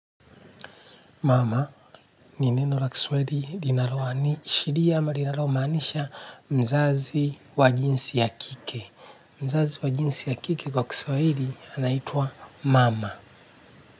Mama, ni neno la kiswahili linaloashiria ama linalomaanisha mzazi wa jinsi ya kike. Mzazi wa jinsi ya kike kwa kiswali anaitwa mama.